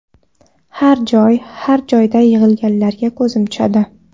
Har joy, har joyda yig‘ilarga ko‘zim tushadi.